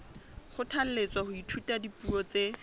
kgothalletswa ho ithuta dipuo tse